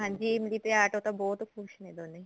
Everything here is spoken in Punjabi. ਹਾਂਜੀ ਇਮਲੀ ਤੇ ਆਟੋ ਤਾਂ ਬਹੁਤ ਖੁਸ਼ ਨੇ ਦੋਨੇ